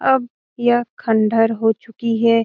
अब यह खंडर हो चुकी है।